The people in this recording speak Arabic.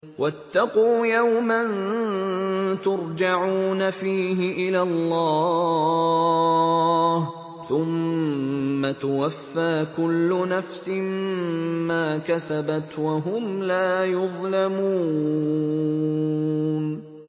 وَاتَّقُوا يَوْمًا تُرْجَعُونَ فِيهِ إِلَى اللَّهِ ۖ ثُمَّ تُوَفَّىٰ كُلُّ نَفْسٍ مَّا كَسَبَتْ وَهُمْ لَا يُظْلَمُونَ